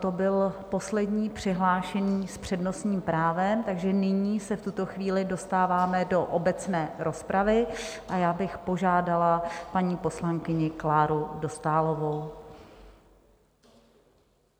To byl poslední přihlášený s přednostním právem, takže nyní se v tuto chvíli dostáváme do obecné rozpravy a já bych požádala paní poslankyni Kláru Dostálovou.